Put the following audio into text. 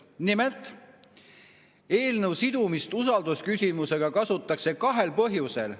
Nimelt, eelnõu sidumist usaldusküsimusega kasutatakse kahel põhjusel.